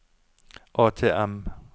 ATM